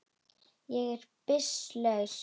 Ég er byssu laus.